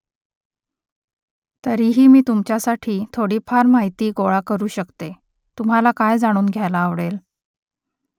तरीही मी तुमच्यासाठी थोडीफार माहिती गोळा करू शकते . तुम्हाला काय जाणून घ्यायला आवडेल ?